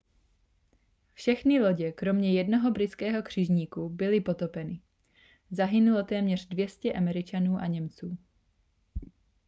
všechny lodě kromě jednoho britského křižníku byly potopeny zahynulo téměř 200 američanů a němců